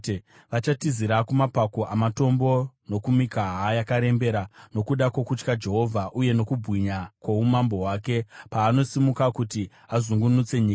Vachatizira kumapako amatombo nokumikaha yakarembera, nokuda kwokutya Jehovha, uye nokubwinya kwoumambo hwake, paanosimuka kuti azungunutse nyika.